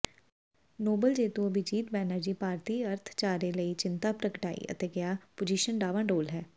Nobel ਜੇਤੂ ਅਭਿਜੀਤ ਬੈਨਰਜੀ ਭਾਰਤੀ ਅਰਥਚਾਰੇ ਲਈ ਚਿੰਤਾ ਪ੍ਰਗਟਾਈ ਤੇ ਕਿਹਾ ਪੋਜੀਸ਼ਨ ਡਾਵਾਡੋਲ ਹੈ